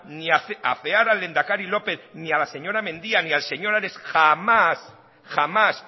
ni afear al lehendakari lópez ni a la señora mendia ni al señor ares jamás jamás